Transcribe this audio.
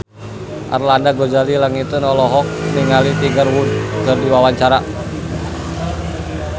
Arlanda Ghazali Langitan olohok ningali Tiger Wood keur diwawancara